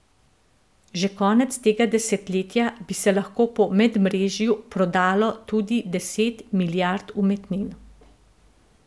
Že konec tega desetletja bi se lahko po medmrežju prodalo tudi deset milijard umetnin.